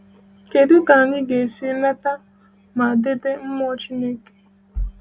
Kedụ ka anyị ga-esi nata ma debe mmụọ Chineke?